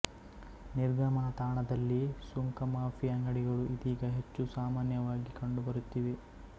ನಿರ್ಗಮನ ತಾಣದಲ್ಲಿ ಸುಂಕಮಾಫಿ ಅಂಗಡಿಗಳು ಇದೀಗ ಹೆಚ್ಚು ಸಾಮಾನ್ಯವಾಗಿ ಕಂಡುಬರುತ್ತಿವೆ